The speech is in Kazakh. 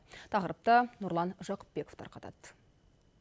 тақырыпты нұрлан жақыпбеков тарқатады